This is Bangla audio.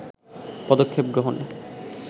পদক্ষেপ গ্রহণে